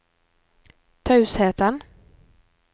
tausheten